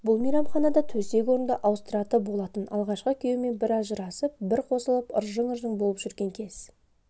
бұл мейманханада төсек-орынды ауыстыраты болатын алғашқы күйеуімен бір ажырасып бір қосылып ырың-жырың болып жүрген кез